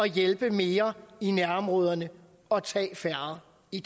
hjælpe mere i nærområderne og tage færre i